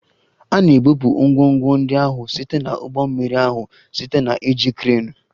A na-ebupụ ngwongwo ndị ahụ site na ụgbọ mmiri ahụ site na iji kreenu